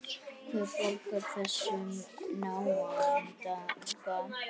Hver borgar þessum náunga?